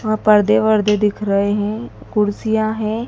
वहां पर्दे वर्दे दिख रहे है कुर्सियां है।